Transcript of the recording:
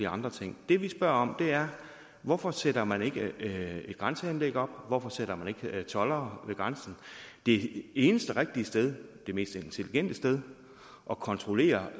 andre ting det vi spørger om er hvorfor sætter man ikke et grænseanlæg op hvorfor sætter man ikke toldere ved grænsen det eneste rigtige sted det mest intelligente sted at kontrollere